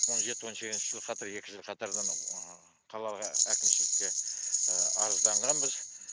он жеті он сегізінші жыл қатар екі жыл қатарынан қалаға әкімшілікке арызданғанбыз